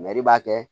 b'a kɛ